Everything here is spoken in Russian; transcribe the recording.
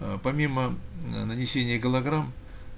аа помимо ээ нанесение голограмм